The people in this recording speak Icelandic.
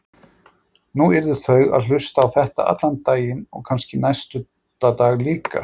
Nú yrðu þau að hlusta á þetta allan daginn og kannski næsta dag líka.